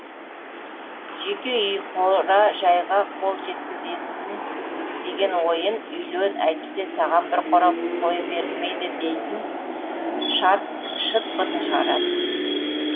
жеке үй қора жайға қол жеткізесін деген ойын үйлен әйтпесе саған бір қора қой берілмейді дейтін шарт шыт бытын шығарады